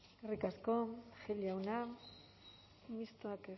eskerrik asko gil jauna mistoak